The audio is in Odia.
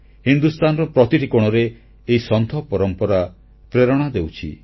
ହିନ୍ଦୁସ୍ଥାନର ପ୍ରତିଟି କୋଣରେ ଏହି ସନ୍ଥ ପରମ୍ପରା ପ୍ରେରଣା ଦେଉଛି